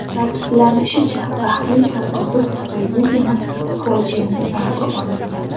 Ta’kidlanishicha, baxtli tasodif tufayligina fojianing oldi olingan.